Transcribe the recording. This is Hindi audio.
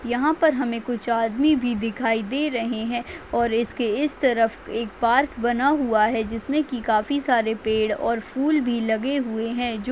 यहाँ पर हमे कुछ आदमी भी दिखाई दे रहे है और इस के इस तरफ एक पार्क बना हुआ है जिस मे की काफी सारे पेड और फूल भी लगे हुए है जो --